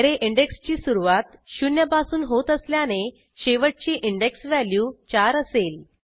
array इंडेक्सची सुरूवात शून्यपासून होत असल्याने शेवटची इंडेक्स व्हॅल्यू 4 असेल